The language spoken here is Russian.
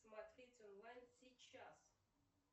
смотреть онлайн сейчас